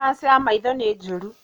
Kanja ya maitho nī njūru.